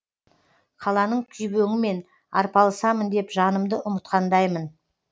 қаланың күйбеңімен арпалысамын деп жанымды ұмытқандаймын